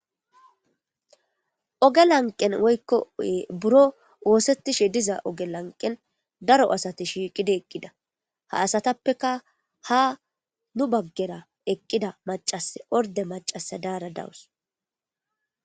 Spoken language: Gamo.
oge lanqen woykko buro woosettishe diza oge lanqen daro asati shiiqida eqqida ha asatappeka ha nu baggera eqqida macas orde macasa daara dawus